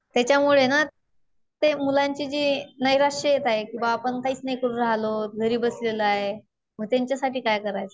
त्याच्यामुळे ना ते मुलांची जी नैराश्य येत आहे कि बुवा आपण काहीच नाही करू रहिलो. घरीच बसलेलो आहे. मग त्यांच्यासाठी काय करायचं?